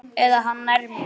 Eða hann nær mér.